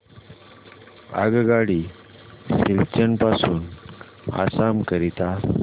आगगाडी सिलचर पासून आसाम करीता